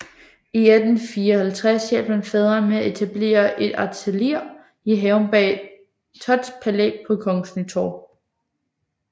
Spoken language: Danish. I 1854 hjalp han faderen med at etablere et atelier i haven bag Thotts Palæ på Kongens Nytorv